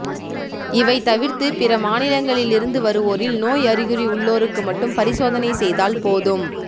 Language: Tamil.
இவை தவிர்த்து பிற மாநிலங்களிலிருந்து வருவோரில் நோய் அறிகுறி உள்ளோருக்கு மட்டும் பரிசோதனை செய்தால் போதும்